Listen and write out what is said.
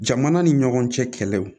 Jamana ni ɲɔgɔn cɛ kɛlɛw